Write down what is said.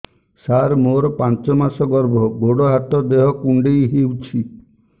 ସାର ମୋର ପାଞ୍ଚ ମାସ ଗର୍ଭ ଗୋଡ ହାତ ଦେହ କୁଣ୍ଡେଇ ହେଉଛି